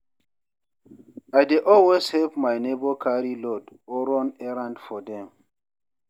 I dey always help my neighbor carry load or run errands for dem.